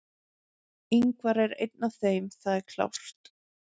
Ingvar er einn af þeim, það er klárt.